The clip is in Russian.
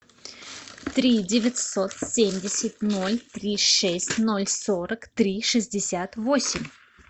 три девятьсот семьдесят ноль три шесть ноль сорок три шестьдесят восемь